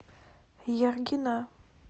яргина